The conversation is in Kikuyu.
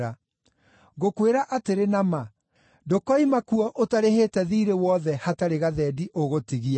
Ngũkwĩra atĩrĩ na ma, ndũkoima kuo ũtarĩhĩte thiirĩ wothe hatarĩ gathendi ũgũtigia.